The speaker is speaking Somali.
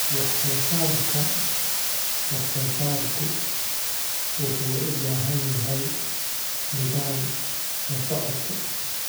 Wax-soo-saarka wax-soo-saarku wuxuu u baahan yahay nidaam la socodka.